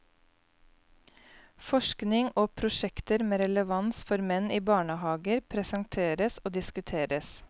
Forskning og prosjekter med relevans for menn i barnehager presenteres og diskuteres.